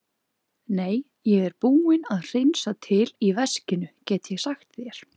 Nei, ég er búinn að hreinsa til í veskinu, get ég sagt þér.